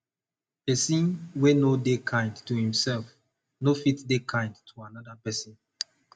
persin wey no de kind to imself no fit de kind to another persin